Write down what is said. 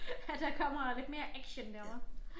At der kommer lidt mere action derovre